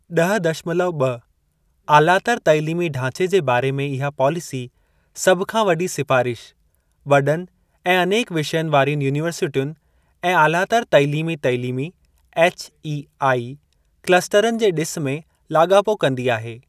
ॾह दशमलव ॿ आलातर तइलीमी ढांचे जे बारे में इहा पॉलिसी, सभ खां वॾी सिफ़ारिश, वॾनि ऐं अनेक विषयनि वारियुनि यूनीवर्सिटियुनि ऐं आलातर तालीमी तइलीमी (HEI), क्लस्टरनि जे ॾिस में लाॻापो कंदी आहे।